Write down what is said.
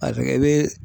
A kɛ i be